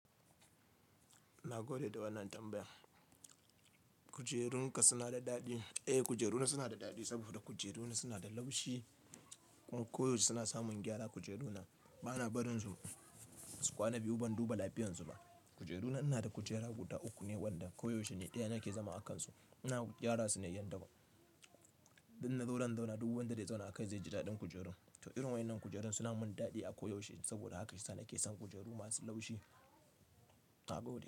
Ina gode da wannan tambayan. Kujerunka suna da daɗi. Eh, kujeruna suna da daɗi saboda kujeruna suna da laushi. Koyaushe suna samun gyara kujeruna. Bana barin su kwana biyu ban duba lafiyarsu ba. Kujeruna ina da kujera guda uku ne wanda koyaushe ne ɗaya nake zama a kansu. Ina gyara su ne yadda ba. Duk innazo zan zauna duk wanda zai zauna a kai zai ji daɗin kujerun. To irin waɗannan kujerun suna mun daɗi a koyaushe saboda haka shi yasa nake son kujeru masu laushi. Na gode.